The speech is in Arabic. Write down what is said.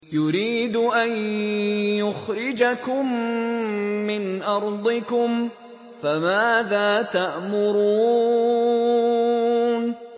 يُرِيدُ أَن يُخْرِجَكُم مِّنْ أَرْضِكُمْ ۖ فَمَاذَا تَأْمُرُونَ